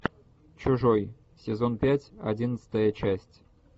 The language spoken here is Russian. чужой сезон пять одиннадцатая часть